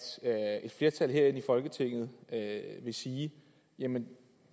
flertal herinde i folketinget vil sige jamen